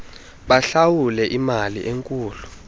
bahlawule iimali ezinkulu